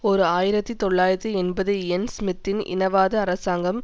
ஓர் ஆயிரத்தி தொள்ளாயிரத்தி எண்பது இயன் ஸ்மித்தின் இனவாத அரசாங்கம்